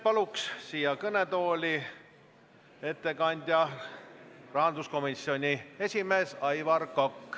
Palun siia kõnetooli ettekandjaks rahanduskomisjoni esimehe Aivar Koka.